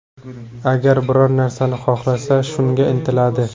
Agar biror narsani xohlasa, shunga intiladi.